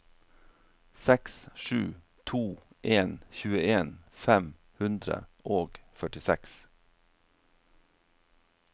seks sju to en tjueen fem hundre og førtiseks